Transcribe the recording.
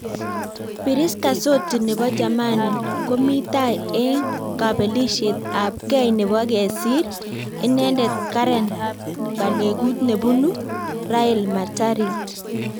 Piriska soti neboo jamani komi tai eng kabelisiet ab kei neboo kesiir inendet Karen balekut nebunu Rael Matarit